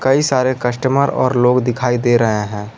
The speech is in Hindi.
कई सारे कस्टमर और लोग दिखाई दे रहे हैं।